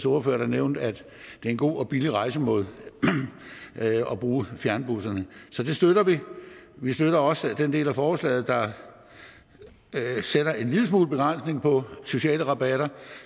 ordfører der nævnte at det er en god og billig rejsemåde at bruge fjernbusserne så det støtter vi vi støtter også den del af forslaget der sætter en lille smule begrænsning på sociale rabatter